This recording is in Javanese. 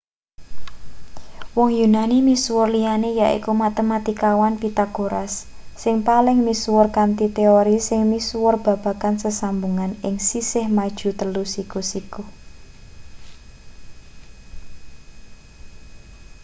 wong yunani misuwur liyane yaiku matematikawan pythagoras sing paling misuwur kanthi teori sing misuwur babagan sesambungane ing sisih maju telu siku-siku